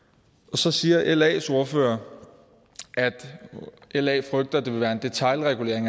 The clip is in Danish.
så siger las ordfører at la frygter det vil være en detailregulering